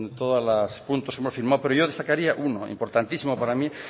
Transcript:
todos los puntos que hemos firmado pero yo destacaría uno importantísimo para mí